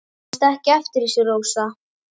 Manstu kannski ekki eftir þessu, Rósa?